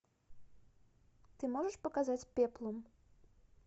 ты можешь показать пеплум